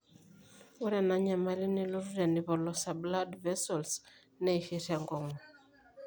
ore enanyamali nelotu tenipolosa blood vessels neishir enkong'u